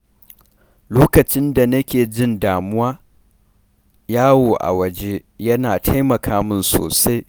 Lokacin da na ke jin damuwa, yawo a waje yana taimaka min sosai.